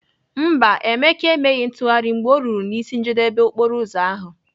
Mba, Emeka emeghị ntụgharị mgbe ọ ruru n'isi njedebe okporoụzọ ahụ.